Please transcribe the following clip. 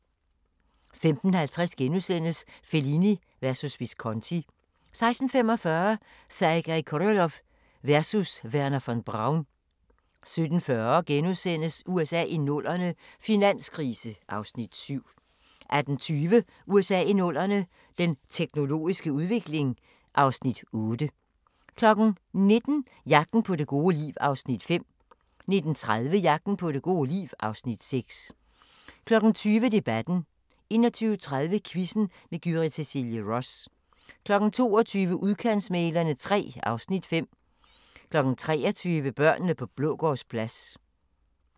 15:50: Fellini versus Visconti * 16:45: Sergej Koroljov versus Wernher von Braun 17:40: USA i 00'erne – finanskrise (Afs. 7)* 18:20: USA i 00'erne – den teknologiske udvikling (Afs. 8) 19:00: Jagten på det gode liv (Afs. 5) 19:30: Jagten på det gode liv (Afs. 6) 20:00: Debatten 21:30: Quizzen med Gyrith Cecilie Ross 22:00: Udkantsmæglerne III (Afs. 5) 23:00: Børnene på Blågårdsplads